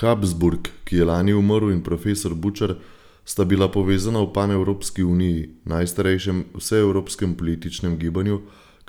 Habsburg, ki je lani umrl, in profesor Bučar sta bila povezana v Panevropski uniji, najstarejšem vseevropskem političnem gibanju,